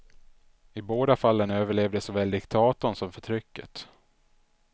I båda fallen överlevde såväl diktatorn som förtrycket.